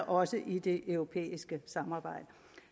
også i det europæiske samarbejde